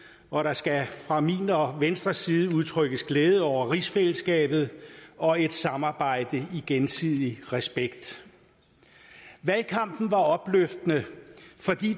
og der skal fra min og venstres side udtrykkes glæde over rigsfællesskabet og et samarbejde i gensidig respekt valgkampen var opløftende fordi